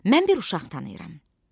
Mən bir uşaq tanıyıram.